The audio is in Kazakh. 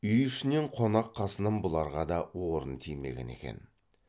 үй ішінен қонақ қасынан бұларға да орын тимеген екен